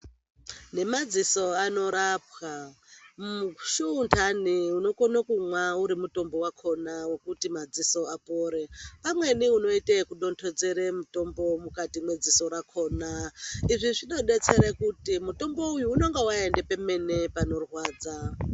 Nemadziso anorapwa mushuundane unokona kumwa uri mutombo wakona wekuti madziso apore pamweni unoite wekudonhedzera mutombo mukati mwedziso rakona izvi zvinodetsera kuti mutombo uyu unenge waenda pemene panorwadza .